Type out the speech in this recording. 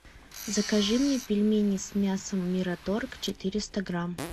закажи мне пельмени с мясом мираторг четыреста грамм